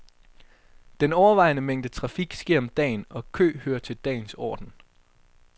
Den overvejende mængde trafik sker om dagen og kø hører til dagens orden.